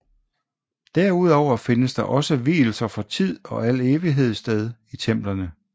Derudover findes der også vielser for tid og al evighed sted i templerne